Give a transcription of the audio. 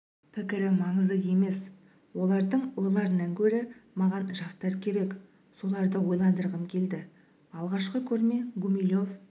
пікірі маңызды емес олардың ойларынан гөрі маған жастар керек соларды ойландырғым келді алғашқы көрме гумилев